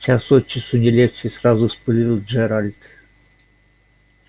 час от часу не легче сразу вспылил джералд